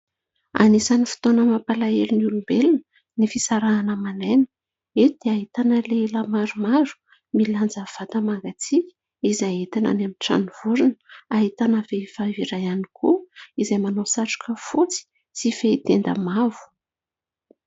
Anisan'ny fotoana mampalahelo ny olombelona ny fisarahana aman'aina. Eto dia ahitana lehilahy maromaro milanja vata-mangatsiaka izay entina any amin'ny tranovorona. Ahitana vehivavy iray ihany koa izay manao satroka fotsy sy fehin-tenda mavo.